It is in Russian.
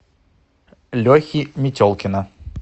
лехи метелкина